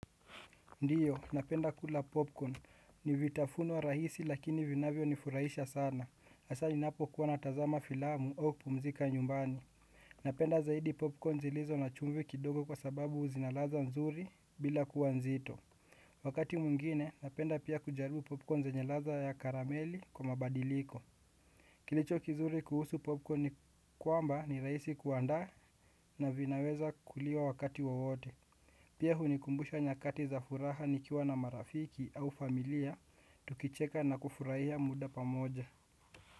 Ndiyo, napenda kula popcorn. Nivitafunwa rahisi lakini vinavyo nifurahisha sana. Asaa ninapo kuwa natazama filamu au kupumzika nyumbani. Napenda zaidi popcorn zilizo na chumvi kidogo kwa sababu zinaladha nzuri bila kuwa nzito. Wakati mwingine, napenda pia kujaribu popcorn zenye ladha ya karamelli kwa mabadiliko. Kilicho kizuri kuhusu popcorn ni kwamba ni rahisi kuandaa na vinaweza kuliwa wakati wowote. Pia hunikumbusha nyakati za furaha nikiwa na marafiki au familia, tukicheka na kufuraia muda pamoja.